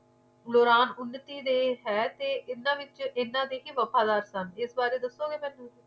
ਦੌਰਾਨ ਉਨਤੀ ਦੇ ਹੈ ਤੇ ਏਨਾ ਵਿੱਚ ਏਨਾ ਦੇ ਵਫ਼ਾਦਾਰ ਸਨ ਇਸ ਬਾਰੇ ਦਸੋ ਗਏ ਮੈਨੂੰ